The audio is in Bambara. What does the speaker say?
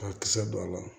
Ka kisɛ don a la